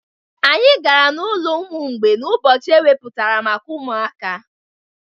Anyị gara n'ụlọ ụmụ mgbei n'ụbọchị ewepụtara maka ụmụaka